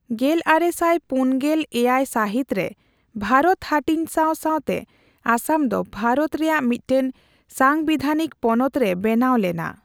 ᱜᱮᱞᱟᱨᱮᱥᱟᱭ ᱯᱩᱱᱜᱮᱞᱮᱭᱟᱭ ᱥᱟᱹᱦᱤᱛᱨᱮ ᱵᱷᱟᱨᱚᱛ ᱦᱟᱹᱴᱤᱧ ᱥᱟᱣ ᱥᱟᱣᱛᱮ ᱟᱥᱟᱢᱫᱚ ᱵᱷᱟᱨᱚᱛ ᱨᱮᱭᱟᱜ ᱢᱤᱫᱴᱟᱝ ᱥᱟᱝᱵᱤᱫᱷᱟᱱᱤᱠ ᱯᱚᱱᱚᱛ ᱨᱮ ᱵᱮᱱᱟᱣ ᱞᱮᱱᱟ ᱾